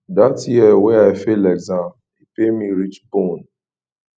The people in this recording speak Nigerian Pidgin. dat year wey i fail exam e pain me reach bone